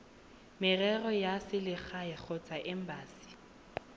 merero ya selegae kgotsa embasi